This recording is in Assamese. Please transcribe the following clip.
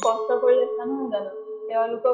কষ্ট কৰি আছা নহয় জানো তেওঁলোকৰ